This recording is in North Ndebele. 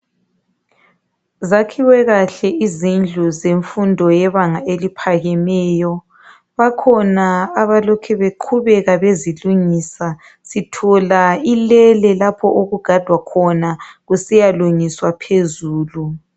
Zakhiwe kahle izindlu zemfundo yebanga eliphakemeyo ,bakhona abalokhe beqhubeka bezilungisa sithola ilele lapho okugadwa khona kusiya lungiswa phezulu.